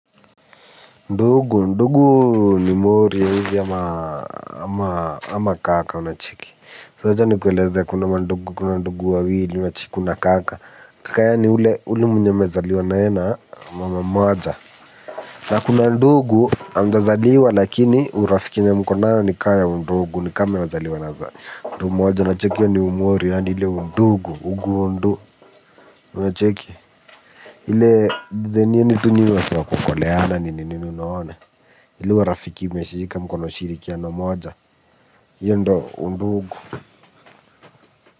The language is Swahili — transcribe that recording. Ndugu, ndugu ni mwori hivi ama kaka unacheki so acha nikueleze kuna ndugu, kuna ndugu wawili, kuna kaka kaya ni ule mwenye mmezaliwa nae na mama mmoja na kuna ndugu amjazaliwa lakini urafiki yenye mko nayo ni kaya undugu ni kame wazaliwa na mtu mmoja unacheki ya ni mwori ya ile undugu, ugundo unacheki. Ile zenye nitu nini watu wakukoleana nini nini unaona. Ile warafiki meshika mkono ushirikiano mmoja. Iyo ndo undugu.